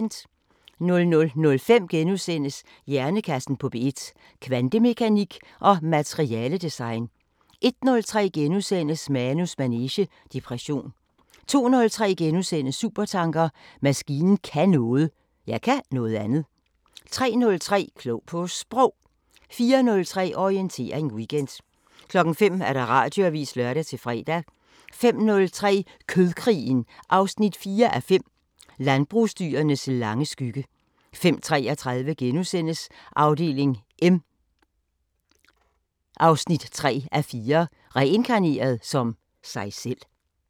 00:05: Hjernekassen på P1: Kvantemekanik og materiale-design * 01:03: Manus manege: Depression * 02:03: Supertanker: Maskinen kan noget. Jeg kan noget andet. * 03:03: Klog på Sprog 04:03: Orientering Weekend 05:00: Radioavisen (lør-fre) 05:03: Kødkrigen 4:5 – Landbrugsdyrenes lange skygge 05:33: Afdeling M 3:4 – Reinkarneret som sig selv *